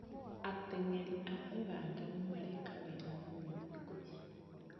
Ateng'eri a ũganda nĩmareka wega mũno thikũ ici